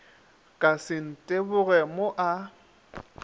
ka se nteboge mo a